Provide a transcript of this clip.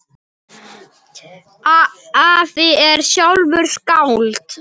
Afi er sjálfur skáld.